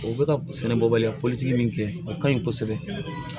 O bɛ ka sɛnɛ bɔ baliya politigi min kɛ a ka ɲi kosɛbɛ